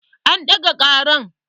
An ɗaga ƙaran